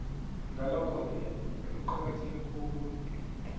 ngalokhoke kuqakatheke khulu